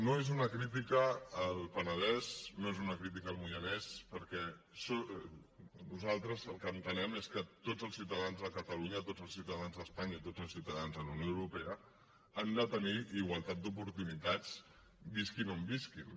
no és una crítica al penedès no és una crítica al moianès perquè nosaltres el que entenem és que tots els ciutadans de catalunya tots els ciutadans d’espanya i tots els ciutadans de la unió europea han de tenir igualtat d’oportunitats visquin on visquin